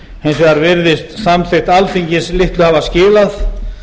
hins vegar virðist samþykkt alþingis litlu hafa skilað